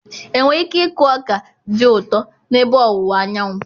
Enwere ike ịkụ ọka dị ụtọ n'ebe ọwụwa Anyanwụ?